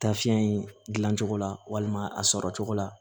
Taafi in gilan cogo la walima a sɔrɔ cogo la